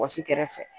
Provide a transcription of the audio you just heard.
Wɔsi kɛrɛfɛ